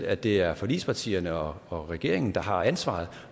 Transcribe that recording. at det er forligspartierne og og regeringen der har ansvaret